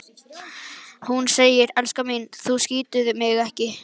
Hún segir: Elskan mín, þú skýtur mig ekki